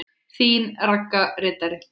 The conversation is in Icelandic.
Þín Ragga ritari.